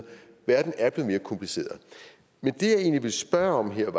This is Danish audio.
verden er blevet mere kompliceret men det jeg egentlig vil spørge om her er